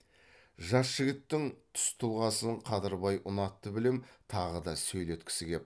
жас жігіттің түс тұлғасын қадырбай ұнатты білем тағы да сөйлеткісі кеп